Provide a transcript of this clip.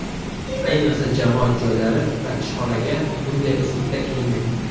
Ayniqsa, jamoat joylari va ishxonaga bunday uslubda kiyinmang.